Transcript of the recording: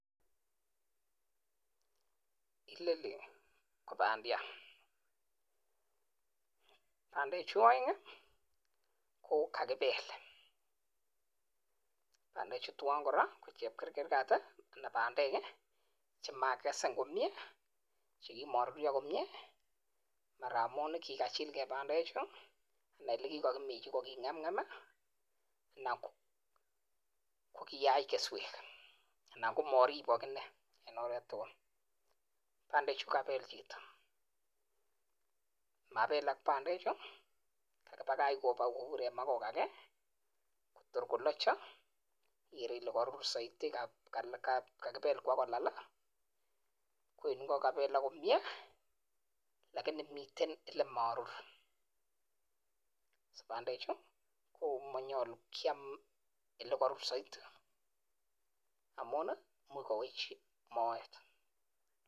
Inoni ko bandiat, bandechu oeng' ii ko kagibel, bandechu chu twan kora ko chepkerkergat anan bandek che makikesen komyee che kimoruryo komyee ara amun kigachil ge bandechu ana ole kigokiminji koging'emng'em anan ko kiyach keswek anan ko moribok iney en oret tugul. Bandechu kokabel chito, mabelak bandechu, kagibagach kobur en ma kogaa kee tor kolochu ikere ile koruru soiti kakibel bagolal. Ko en ingo kokabelak komyee lakini miten olemorur. Bandechu ko monyolu kyam ole korur soiti amun imuch kowech moet.